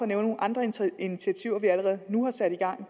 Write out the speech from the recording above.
nævne nogle andre initiativer vi allerede nu har sat i gang